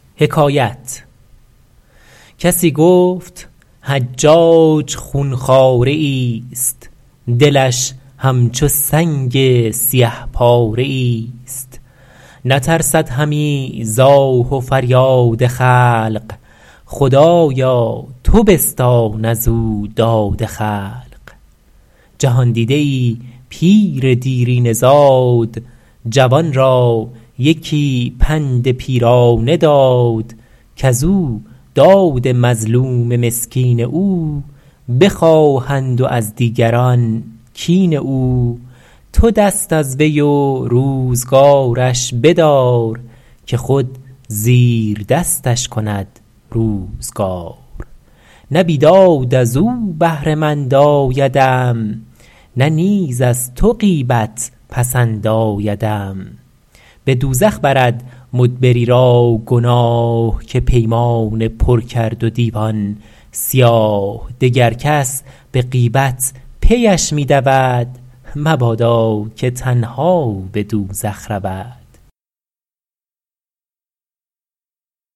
کسی گفت حجاج خون خواره ای است دلش همچو سنگ سیه پاره ای است نترسد همی ز آه و فریاد خلق خدایا تو بستان از او داد خلق جهاندیده ای پیر دیرینه زاد جوان را یکی پند پیرانه داد کز او داد مظلوم مسکین او بخواهند و از دیگران کین او تو دست از وی و روزگارش بدار که خود زیر دستش کند روزگار نه بیداد از او بهره مند آیدم نه نیز از تو غیبت پسند آیدم به دوزخ برد مدبری را گناه که پیمانه پر کرد و دیوان سیاه دگر کس به غیبت پیش می دود مبادا که تنها به دوزخ رود